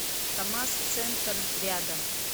камаз центр рядом